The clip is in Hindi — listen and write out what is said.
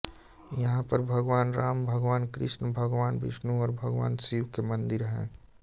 यहाँ पर भगवान राम भगवान कृष्ण भगवान विष्णु और भगवान शिव के मंदिर हैं